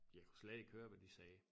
Jeg kunne slet ikke høre hvad de sagde